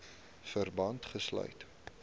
verband gesluit